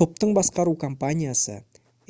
топтың басқару компаниясы